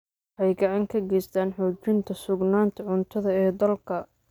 Waxay gacan ka geystaan ??xoojinta sugnaanta cuntada ee dalka.